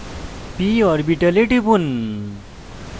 p orbital টিপুন